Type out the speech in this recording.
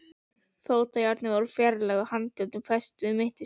Fótajárnin voru fjarlægð og handjárnin fest við mittisgjörðina.